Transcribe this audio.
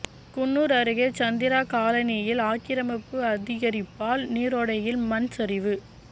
குன்னூர் அருகே சந்திரா காலனியில் ஆக்கிரமிப்பு அதிகரிப்பால் நீரோடையில் மண் சரிவு